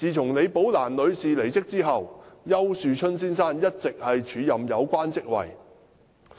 自李寶蘭女士離職後，丘樹春先生一直署任有關職位。